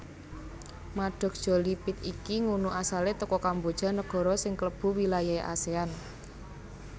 Maddox Jolie Pitt iki ngunu asale teko Kamboja negoro sing klebu wilayahe Asean